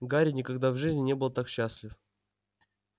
гарри никогда в жизни не был так счастлив